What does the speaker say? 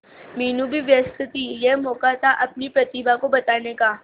मीनू भी व्यस्त थी यह मौका था अपनी प्रतिभा को बताने का